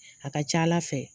A ka ca Ala fɛ